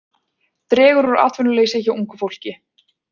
Dregur úr atvinnuleysi hjá ungu fólki